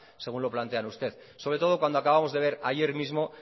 según lo plantean ustedes sobre todo cuando acabamos de ver ayer mismo